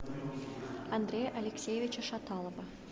андрея алексеевича шаталова